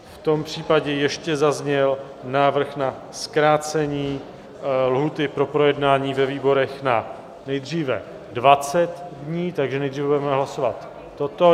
V tom případě ještě zazněl návrh na zkrácení lhůty pro projednání ve výborech na nejdříve 20 dní, takže nejdříve budeme hlasovat toto.